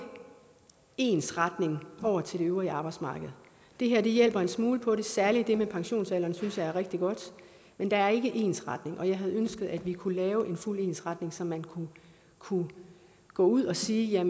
ensretning over til det øvrige arbejdsmarked det her hjælper en smule på det særlig det med pensionsalderen synes jeg er rigtig godt men der er ikke ensretning jeg havde ønsket at kunne lave en fuld ensretning så man kunne gå ud og sige at